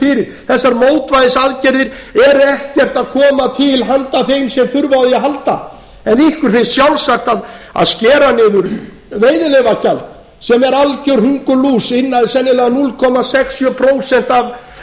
fyrir þessar mótvægisaðgerðir eru ekkert að koma til handa þeim sem þurfa á því að halda en ykkur finnst sjálfsagt að skera niður veiðileyfagjald sem er algjör hungurlús sennilega sex